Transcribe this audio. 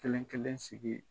Kelen kelen sigi